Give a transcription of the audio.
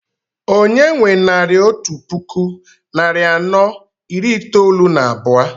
Onye nwe naira otú puku narị anọ iri itoolu na abụọ?